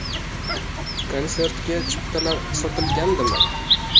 Konsertga chiptalar sotilgandimi?